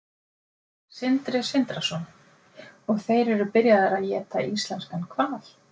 Sindri Sindrason: Og þeir eru byrjaðir að éta íslenskan hval?